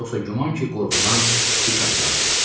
Yoxsa güman ki, qorxudan dik atılardım.